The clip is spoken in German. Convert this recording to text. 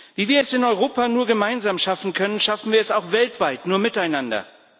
Wie wir es in Europa nur gemeinsam schaffen können, schaffen wir es auch weltweit nur miteinander.